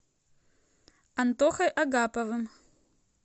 антохой агаповым